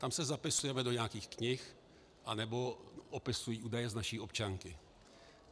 Tam se zapisujeme do nějakých knih nebo opisují údaje z naší občanky.